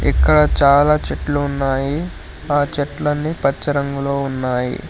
ఇక్కడ చాలా చెట్లు ఉన్నాయి ఆ చెట్లన్నీ పచ్చ రంగులో ఉన్నాయి.